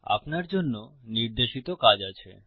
আপনার জন্য নির্দেশিত কাজ আছে